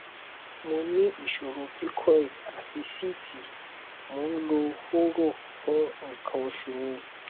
mo ní ìṣòro pcod àti síìtì mò ń lo hóró fún nǹkan oṣù mi